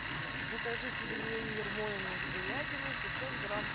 закажи пельмени ермолино с говядиной пятьсот грамм